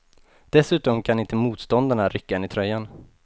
Dessutom kan inte motståndarna rycka en i tröjan.